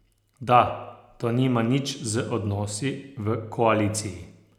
Da to nima nič z odnosi v koaliciji.